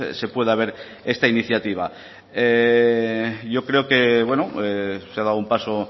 se pueda ver esta iniciativa yo creo que bueno se ha dado un paso